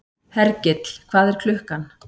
Hergill, hvað er klukkan?